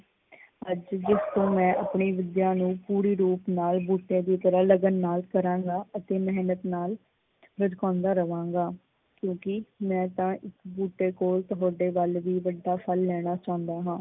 ਅੱਜ ਤੋਂ ਹੀ ਮੈਂ ਆਪਣੀ ਵਿੱਦਿਆ ਨੂੰ ਪੂਰੀ ਰੂਪ ਨਾਲ ਬੂਟੇ ਦੀ ਤਰ੍ਹਾਂ ਲੱਗਨ ਨਾਲ ਕਰਾਂਗਾ ਅਤੇ ਮਿਹਨਤ ਨਾਲ ਲਸਕਾਉਦਾ ਰਵਾਂਗਾਂ, ਕਿਉਕਿ ਮੈਂ ਤਾਂ ਇਸ ਬੂਟੇ ਕੋਲ ਤੁਹਾਡੇ ਵੱਲ ਵੀ ਵੱਡਾ ਫਲ ਲੈਣਾ ਚਾਉਂਦਾ ਹਾਂ।